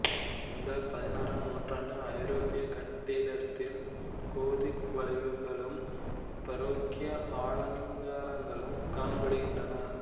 இந்த பதினாறாம் நூற்றாண்டு ஐரோப்பியக் கட்டிடத்தில் கோதிக் வளைவுகளும் பரோக்கிய அலங்காரங்களும் காணப்படுகின்றன